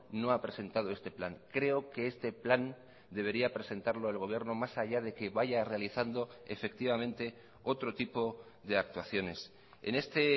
no ha presentado este plan creo que este plan debería presentarlo el gobierno más allá de que vaya realizando efectivamente otro tipo de actuaciones en este